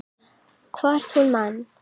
Hvort hún man!